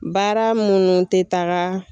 Baara minnu tɛ taga